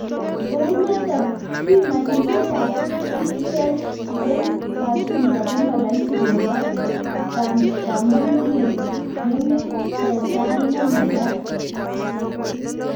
Kounotok pimanisiek ab 'T-cells' eng kachulyo koma rahisi kobor kamang'unet neng'ung' eng sait ne maget.